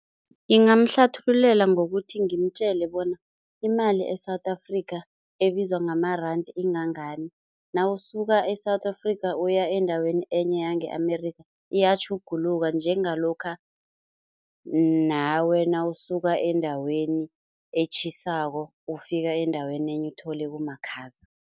Ngingamhlathululela ngokuthi ngimtjele bona imali e-South Africa ebizwa ngamaranda ingangani, nawusuka e-South Africa uya endaweni enye yange-Amerika iyatjhuguluka njengalokha nawe nawusuka endaweni etjhisako ufika endaweni nenye uthole kumakhaza.